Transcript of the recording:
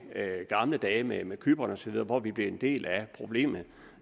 gamle dage med med cypern osv hvor vi blev en del af problemet